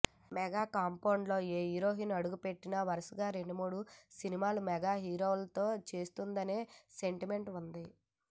mega కాంపౌండ్లోకి ఏ heroine అడుగు పెట్టినా వరుసగా రెండు మూడు సినిమాలు మెగా హీరోలతో చేసేస్తుందనే సెంటిమెంట్ ఉంది